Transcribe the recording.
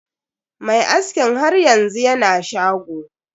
Mai askin har yanzu yana shago.